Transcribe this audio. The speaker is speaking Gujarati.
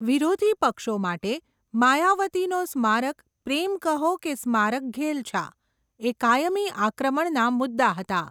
વિરોધી પક્ષો માટે, માયાવતીનો સ્મારક પ્રેમ કહો કે સ્મારકઘેલછા, એ કાયમી આક્રમણના મુદ્દા હતા.